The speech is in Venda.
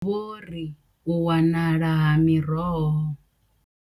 Vho ri u wanala ha miroho.